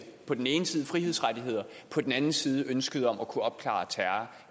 på den ene side frihedsrettigheder og på den anden side ønsket om at kunne opklare terror